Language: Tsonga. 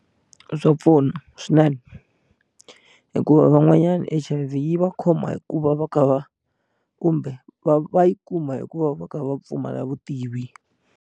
Swa pfuna swinene hikuva van'wanyana H_I_V yi va khoma hi ku va va kha va kumbe va va yi kuma hikuva va kha va pfumala vutivi.